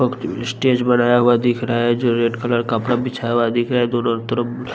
पोकती अ स्टेज बनाया हुआ दिख रहा है जो रेड कलर कपड़ा बिछाया हुआ दिख रहा है दोनों तरफ --